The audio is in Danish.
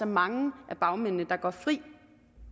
mange af bagmændene går altså fri